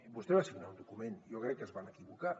vostè va signar un document jo crec que es van equivocar